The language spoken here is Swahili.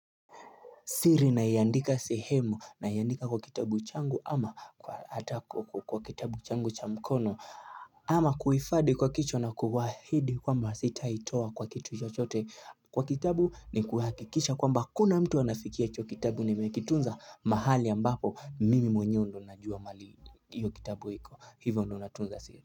Siri naiandika sehemu naiandika kwa kitabu changu ama kwa atako kwa kitabu changu cha mkono ama kuifade kwa kichwa na kuwaahidi kwamba sitaitoa kwa kitu chochote kwa kitabu ni kuhakikisha kwamba hakuna mtu anafikia hicho kitabu nimekitunza mahali ambapo mimi mwenyewe ndo najua mali hiyo kitabu hiko hivyo undo natunza siri.